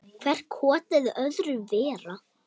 Hvert kotið öðru verra.